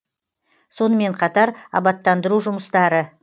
сонымен қатар абаттандыру жұмыстары